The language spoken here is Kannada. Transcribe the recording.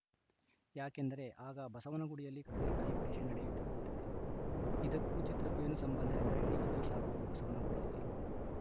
ಯಾಕೆಂದರೆ ಆಗ ಬಸವನಗುಡಿಯಲ್ಲಿ ಕಡಲೆಕಾಯಿ ಪರಿಷೆ ನಡೆಯುತ್ತಿರುತ್ತೆ ಇದಕ್ಕೂ ಚಿತ್ರಕ್ಕೂ ಏನು ಸಂಬಂಧ ಎಂದರೆ ಇಡೀ ಚಿತ್ರ ಸಾಗುವುದು ಬಸವನಗುಡಿಯಲ್ಲಿ